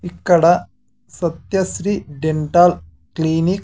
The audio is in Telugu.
ఇక్కడ సత్య శ్రీ డెంటల్ క్లినిక్ --